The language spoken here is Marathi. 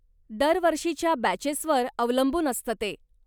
दरवर्षीच्या बॅचेसवर अवलंबून असतं ते